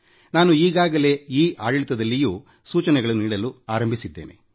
ನಾನು ಈಗಾಗಲೇ ಈ ಆಡಳಿತದಲ್ಲಿಯೂ ಸೂಚನೆಗಳನ್ನು ನೀಡಲು ಆರಂಭಿಸಿದ್ದೇನೆ